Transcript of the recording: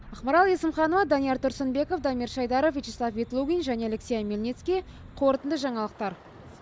ақмарал есімханова данияр тұрсынбеков дамир шайдаров вячеслав ветлугин және алексей омельницкий қорытынды жаңалықтар